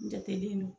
N jatelen don